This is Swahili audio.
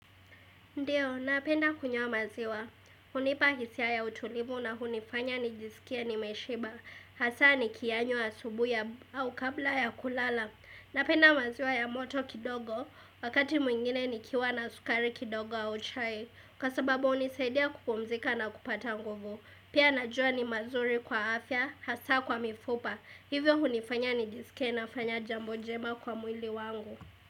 Ndiyo, napenda kunywa maziwa. Hunipa hisia ya utulivu na hunifanya nijisikie nimeshiba. Hasaa nikiyanywa asubuhi au kabla ya kulala. Napenda maziwa ya moto kidogo, wakati mwingine nikiwa na sukari kidogo au chai. Kwa sababu hunisaidia kupumzika na kupata nguvu. Pia najua ni mazuri kwa afya, hasaa kwa mifupa. Hivyo hunifanya nijisikie nafanya jambo jema kwa mwili wangu.